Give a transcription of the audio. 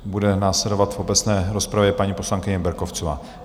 Bude následovat v obecné rozpravě paní poslankyně Berkovcová.